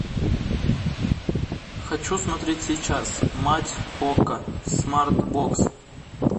хочу смотреть сейчас мать окко смарт бокс